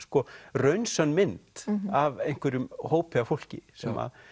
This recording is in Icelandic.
raunsönn mynd af einhverjum hópi af fólki sem